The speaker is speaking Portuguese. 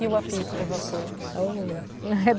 E o apito do vapor?